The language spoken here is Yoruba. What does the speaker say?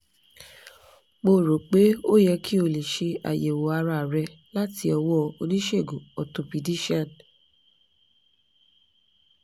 mo rò pé ó yẹ kí o lọ ṣe àyẹ̀wò ara rẹ láti ọwọ́ oníṣègùn orthopaedician